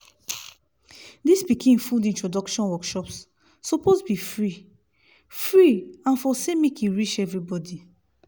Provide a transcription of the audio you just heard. dis pikin food introduction workshops suppose be free-free and for say make e reach everybody